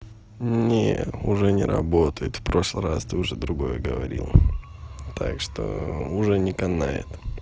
не уже не работает в прошлый раз ты уже другое говорил так что уже не канает